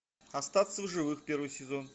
остаться в живых первый сезон